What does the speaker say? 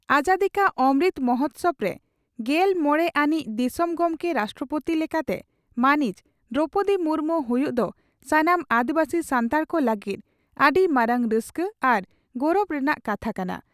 ᱾ᱟᱡᱟᱫᱤᱠᱟ ᱚᱢᱨᱩᱛ ᱢᱚᱦᱚᱛᱥᱚᱵᱽ ᱨᱮ ᱜᱮᱞ ᱢᱚᱲᱮ ᱟᱹᱱᱤᱡ ᱫᱤᱥᱚᱢ ᱜᱚᱢᱠᱮ (ᱨᱟᱥᱴᱨᱚᱯᱳᱛᱤ) ᱞᱮᱠᱟᱛᱮ ᱢᱟᱹᱱᱤᱡ ᱫᱨᱚᱣᱯᱚᱫᱤ ᱢᱩᱨᱢᱩ ᱦᱩᱭᱩᱜ ᱫᱚ ᱥᱟᱱᱟᱢ ᱟᱹᱫᱤᱵᱟᱹᱥᱤ ᱥᱟᱱᱛᱟᱲ ᱠᱚ ᱞᱟᱹᱜᱤᱫ ᱟᱹᱰᱤ ᱢᱟᱨᱟᱝ ᱨᱟᱹᱥᱠᱟᱹ ᱟᱨ ᱜᱚᱨᱚᱵᱽ ᱨᱮᱱᱟᱜ ᱠᱟᱛᱷᱟ ᱠᱟᱱᱟ ᱾